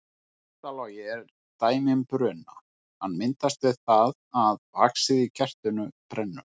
Kertalogi er dæmi um bruna, hann myndast við það að vaxið í kertinu brennur.